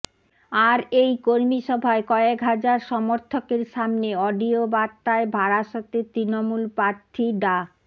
আর এই কর্মিসভায় কয়েক হাজার সমর্থকের সামনে অডিও বার্তায় বারাসতের তৃণমূল প্রার্থী ডা